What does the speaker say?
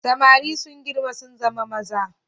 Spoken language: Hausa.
Samari sun girma sun zama maza.